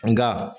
Nka